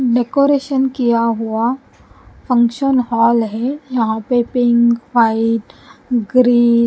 decoration किया हुआ function hall है यहाँ पे पिंक व्हाइट ग्रे --